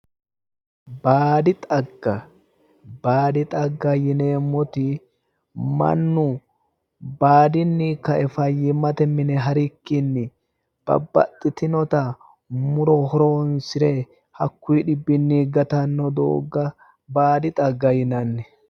Baadi xagga baadi xagga yineemmoti mannu baadinni ka'e fayyimmate mine harikkinni babbaxxitinota muro horoonsire hakkuyi dhibbinni gatanno doogga baadi xagga yinanni